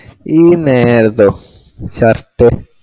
ഈ നേരത്തോ? പഷ്ട്